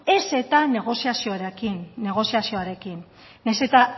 ez eta negoziazioarekin nahiz eta